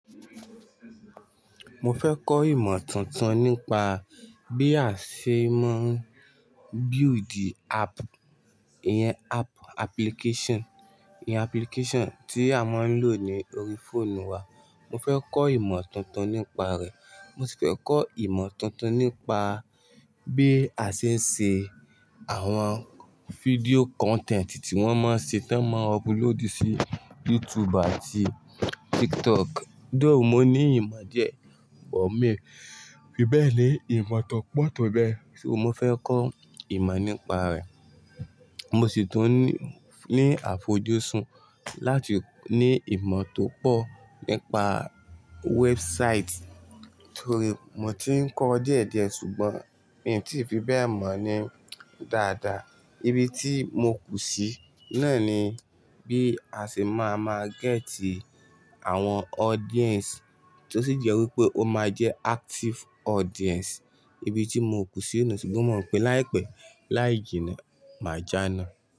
Mo fẹ́ kọ́ ìmọ̀ tuntun nípa bí a ṣe máa ń build app, ìyẹn app application, ìyẹn application tí a máa ń lò ní orí fóònù wa. Mo fẹ́ kọ́ ìmọ̀ tuntun nípa rẹ̀. Mo sì fẹ́ kọ́ ìmọ̀ tuntun nípa bí a ṣe ń ṣe àwọn fídíò content tí wọ́n máa ń ṣe táa máa ń upload sí YouTube àti TikTok. Doo mo ní ìmọ̀ díẹ̀, but mi, fi bẹ́ẹ̀ ni ìmọ̀ tó pọ̀ tó bẹ́ẹ̀, ṣo mo fẹ́ kọ́ ìmọ̀ nípa rẹ̀. Mo sì tún ní àfojúsùn láti ní ìmọ̀ tó pọ̀ nípa website torí mo ti ń kọ́ díẹ̀díẹ̀ ṣùgbọ́n mi ò tí ì fi bẹ́ẹ̀ mọ̀ ní dáadáa. Ibi tí mo kù sí náà ni bí a ṣe máa máa gẹ́tì àwọn audience tó sì jẹ́ wípé ó máa jẹ́ active audience. Ibi tí mo kù sí nù ṣùgbọ́n mò ń pè láìpẹ́ láì jìnnà máa jàná.